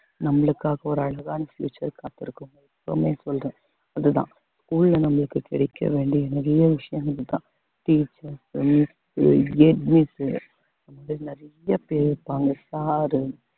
நம்மளுக்காக ஒரு அழகான்னு future காத்திருக்கும் எப்போமே சொல்றேன் அதுதான் school ல நம்மளுக்கு கிடைக்க வேண்டிய நிறைய விஷயங்கள்தான் teachers உ நிறைய பேர் இருப்பாங்க sir உம்